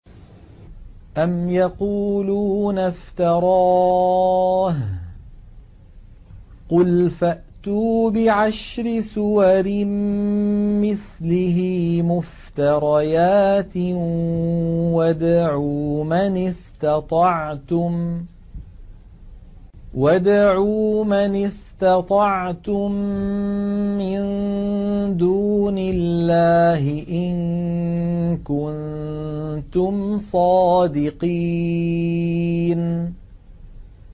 أَمْ يَقُولُونَ افْتَرَاهُ ۖ قُلْ فَأْتُوا بِعَشْرِ سُوَرٍ مِّثْلِهِ مُفْتَرَيَاتٍ وَادْعُوا مَنِ اسْتَطَعْتُم مِّن دُونِ اللَّهِ إِن كُنتُمْ صَادِقِينَ